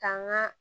Ka n ka